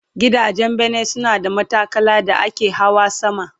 Gidajen bene suna da matakala da ake Hawa sama